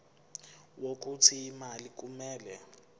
wokuthi imali kumele